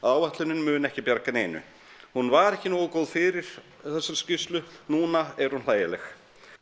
áætlunin mun ekki bjarga neinu hún var ekki nógu góð fyrir þessa skýrslu núna er hún hlægileg